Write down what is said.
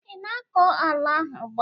ị na-akọ ala ahụ ugbu a?